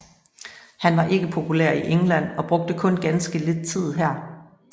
Han var ikke populær i England og brugte kun ganske lidt tid her